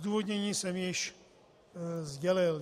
Zdůvodnění jsem již sdělil.